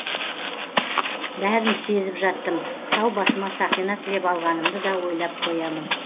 бәрін сезіп жаттым сау басыма сақина тілеп алғанымды да ойлап қоямын